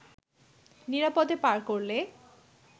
নিরাপদে পার করলে